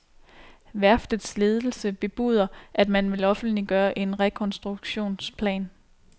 Værftets ledelse bebuder, at man vil offentliggøre en rekonstruktionsplan.